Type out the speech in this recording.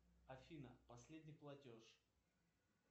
афина последний платеж